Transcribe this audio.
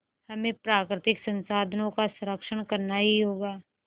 हमें प्राकृतिक संसाधनों का संरक्षण करना ही होगा